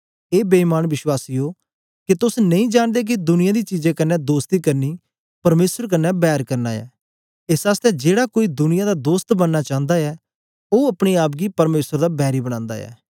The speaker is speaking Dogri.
ए बेईमान बीश्वासियो के तोस नेई जांनदे के दुनियां दी चीजें कन्ने दोस्ती करनी परमेसर कन्ने बैर करना ऐ एस आसतै जेड़ा कोई दुनिया दा दोस्त बनना चांदा ऐ ओ अपने आप गी परमेसर दा बैरी बनांदा ऐ